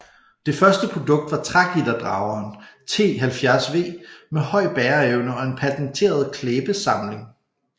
Det første produkt var trægitterdrageren T 70 V med høj bæreevne og en patenteret klæbesamling